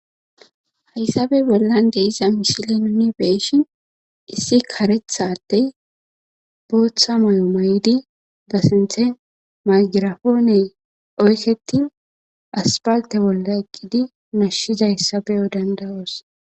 Haysape bollan de7iza misilen nuuni be7ishin issi kareththa addee booththa mayo mayidi ba sinththe maygraapoone oykeththin asppalththe bolla eqqidi nashshizayssa be7o dandda7oos.